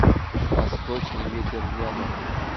восточный ветер рядом